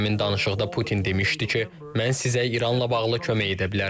Həmin danışıqda Putin demişdi ki, mən sizə İranla bağlı kömək edə bilərəm.